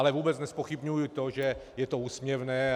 Ale vůbec nezpochybňuji to, že je to úsměvné.